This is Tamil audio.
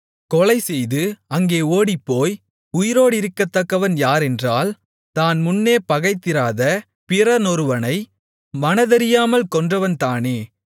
கொலைசெய்து அங்கே ஓடிப்போய் உயிரோடிருக்கத்தக்கவன் யாரென்றால் தான் முன்னே பகைத்திராத பிறனொருவனை மனதறியாமல் கொன்றவன்தானே